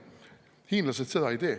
Hiinlased seda ei tee.